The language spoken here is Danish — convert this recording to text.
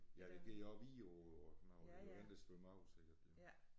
Ja det der på Vidå og sådan noget det den der svømmer ud sikkert